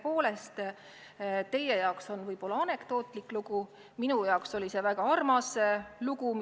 Tõepoolest, teie jaoks oli see võib-olla anekdootlik lugu, minu jaoks oli see väga armas lugu.